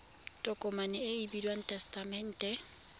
tokomane e e bidiwang tesetamente